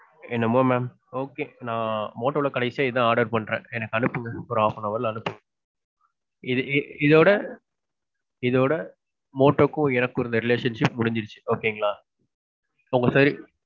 என்னமோ mam. Okay நான் motto ல கடைசியா இதான் order பண்ணறேன். எனக்கு அனுப்புங்க. ஒரு half an hour ல அனுப்புங்க. இது இது இதோட இதோட motto க்கும் எனக்கும் இருந்த relationship முடிஞ்சிருச்சு okay ங்களா. உங்க side.